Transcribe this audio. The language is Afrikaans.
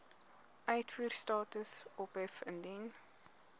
uitvoerstatus ophef indien